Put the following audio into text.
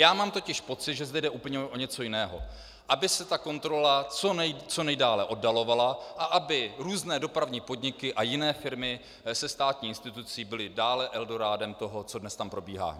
Já mám totiž pocit, že zde jde úplně o něco jiného - aby se ta kontrola co nejdále oddalovala a aby různé dopravní podniky a jiné firmy se státní institucí byly dále eldorádem toho, co dnes tam probíhá.